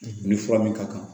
Ni fura min ka kan